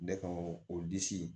Ne ka o disi